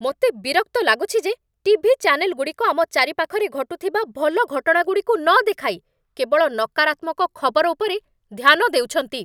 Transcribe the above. ମୋତେ ବିରକ୍ତ ଲାଗୁଛି ଯେ ଟିଭି ଚ୍ୟାନେଲ୍‌ଗୁଡ଼ିକ ଆମ ଚାରିପାଖରେ ଘଟୁଥିବା ଭଲ ଘଟଣାଗୁଡ଼ିକୁ ନ ଦେଖାଇ କେବଳ ନକାରାତ୍ମକ ଖବର ଉପରେ ଧ୍ୟାନ ଦେଉଛନ୍ତି!